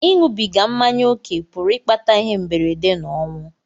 Ịṅụbiga mmanya ókè pụrụ ịkpata ihe mberede na ọnwụ.